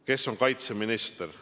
Kes on kaitseminister?